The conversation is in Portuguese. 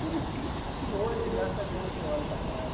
Por isso que que hoje, graças a Deus, eu olho para trás.